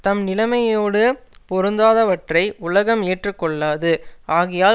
தம் நிலமையோடு பொருந்தாதவற்றை உலகம் ஏற்றுக்கொள்ளாது ஆகையால்